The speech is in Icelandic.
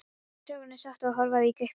Strákarnir sátu og horfðu í gaupnir sér.